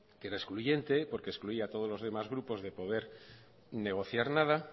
que era excluyente porque excluía a todos los demás grupos de poder negociar nada